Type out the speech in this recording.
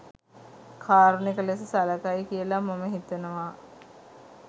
කාරුණික ලෙස සලකයි කියලා මම හිතනවා.